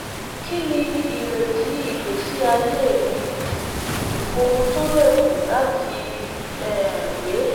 kini ireti igbesi aye ireti igbesi aye mi owun to le ku lati um gbe?